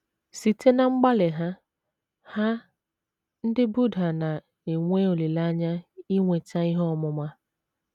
Site ná mgbalị ha, ha, ndị Buddha na - enwe olileanya inweta ihe ọmụma.